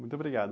Muito obrigado.